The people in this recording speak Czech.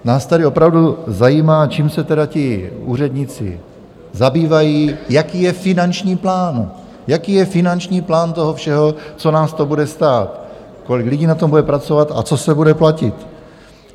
Nás tady opravdu zajímá, čím se tedy ti úředníci zabývají, jaký je finanční plán, jaký je finanční plán toho všeho, co nás to bude stát, kolik lidí na tom bude pracovat a co se bude platit.